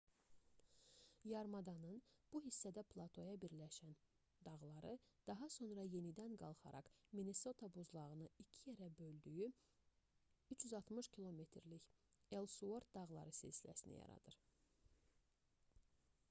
yarımadanın bu hissədə platoya birləşən dağları daha sonra yenidən qalxaraq minnesota buzlağının iki yerə böldüyü 360 km-lik elsuort dağları silsiləsini yaradır